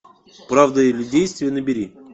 правда или действие набери